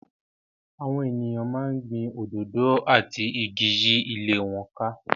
Àwọn ènìyàn máa ń gbin òdòdó àti igi yí ilé wọn ká.